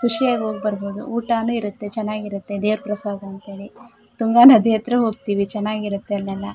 ಖುಷಿ ಆಗಿ ಹೋಗಿ ಬರಬಹುದು ಊಟಾನೂ ಇರುತ್ತೆ ಚನ್ನಾಗಿರುತ್ತೆ ದೇವ್ರ ಪ್ರಸಾದ ಅಂತ ಹೇಳಿ ತುಂಗಾ ನದಿ ಹತ್ರ ಹೋಗ್ತಿವಿ ಚನ್ನಾಗಿರುತ್ತೆ ಅಲ್ಲೆಲ್ಲಾ.